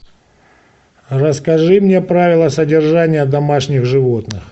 расскажи мне правила содержания домашних животных